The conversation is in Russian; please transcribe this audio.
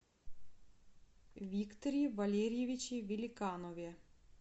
викторе валерьевиче великанове